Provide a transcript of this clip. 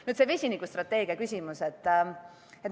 Nüüd see vesinikustrateegia küsimus.